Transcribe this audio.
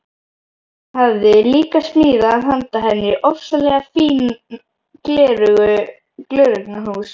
Hann hafði líka smíðað handa henni ofsalega fín gleraugnahús.